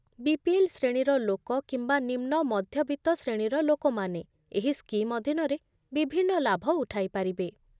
BPL ଶ୍ରେଣୀର ଲୋକ କିମ୍ବା ନିମ୍ନମଧ୍ୟବିତ୍ତ ଶ୍ରେଣୀର ଲୋକମାନେ ଏହି ସ୍କିମ୍ ଅଧୀନରେ ବିଭିନ୍ନ ଲାଭ ଉଠାଇପାରିବେ